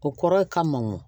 O kɔrɔ ye ka mɔn